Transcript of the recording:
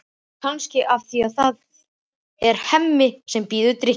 Kannski af því að það er Hemmi sem býður drykkinn.